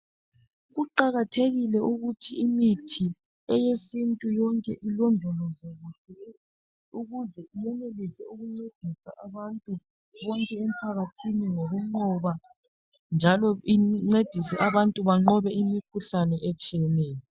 Kuqakathekile ukuthi imithi eyesintu yonke ilondolozwe ukuze yenelise ukunceda abantu bonke emphakathini ngokunqoba njalo incedise abantu banqobe imikhuhlane etshiyeneyo.